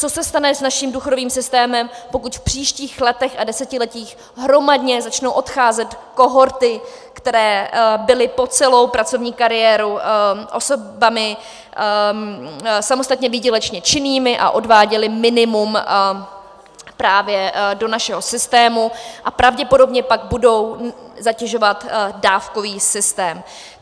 Co se stane s naším důchodovým systémem, pokud v příštích letech a desetiletích hromadně začnou odcházet kohorty, které byly po celou pracovní kariéru osobami samostatně výdělečně činnými a odváděly minimum právě do našeho systému a pravděpodobně pak budou zatěžovat dávkový systém.